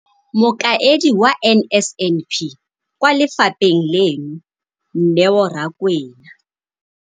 Mokaedi wa NSNP kwa lefapheng leno, Neo Rakwena,